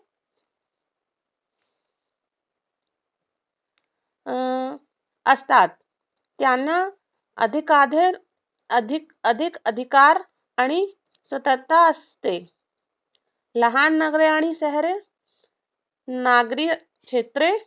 अं असतात. त्यांना अधिक अधिकार आणि सूत्रता असते. लहान नगरे आणि शहरे नागरी क्षेत्रे